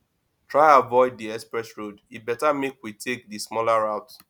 try avoid di express road e better make we take di smaller route